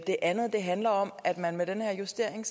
det andet handler om at man med den her justering